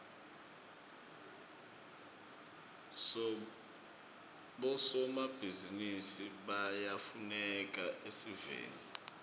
bosomabhizinisi bayafuneka esiveni